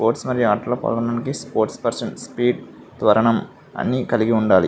Sports మరియు ఆటలలో పాల్గొనటానికి స్పోర్ట్స్ పర్సన్ స్పీడ్ అన్నీ కలిగి ఉండాలి.